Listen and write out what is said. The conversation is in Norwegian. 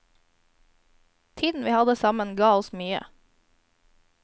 Tiden vi hadde sammen ga oss mye.